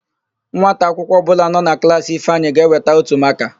Nwata akwụkwọ ọbụla nọ na klaasị Ifeanyị ga-eweta ótù makaa.